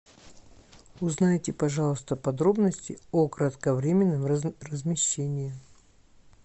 узнайте пожалуйста подробности о кратковременном размещении